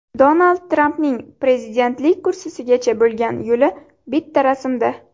Donald Trampning prezidentlik kursisigacha bo‘lgan yo‘li bitta rasmda.